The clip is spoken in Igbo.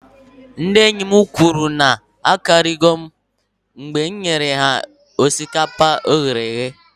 Ndị enyi m kwuru na m akarigo onwem mgbe m nyesịrị ha osikapa e ghere eghe